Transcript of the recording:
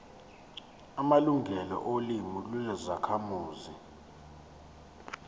amalungelo olimi lwezakhamuzi